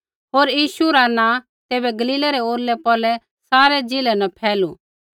होर यीशु रा नाँ तैबै गलीलै रै औरलै पौरलै सारै ज़िलै न फैलू